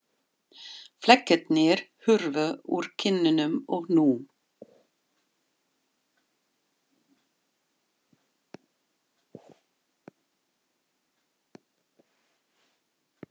Flekkirnir hurfu úr kinnunum og nú